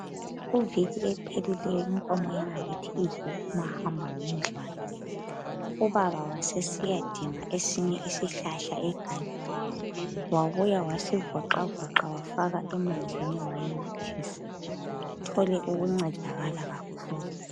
Kuviki ephelileyo inkomo yangakithi idle umahamba ngendlwana ubaba wasesiyadinga esinye isihlahla egangeni wabuya wasivoxavoxa wafaka emanzini wayinathisa. Ithole ukuncedakala kakhulu.